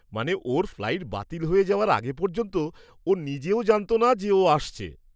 মানে, ওর ফ্লাইট বাতিল হয়ে যাওয়ার আগে পর্যন্ত ও নিজেও জানত না যে ও আসছে।